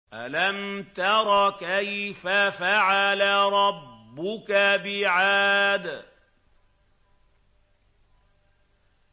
أَلَمْ تَرَ كَيْفَ فَعَلَ رَبُّكَ بِعَادٍ